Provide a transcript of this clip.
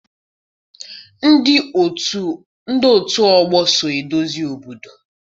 Ndị otù ọgbọ so edozi obodo